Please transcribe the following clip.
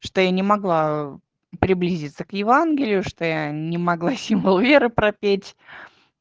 что я не могла приблизиться к евангелию что я не могла символ веры пропеть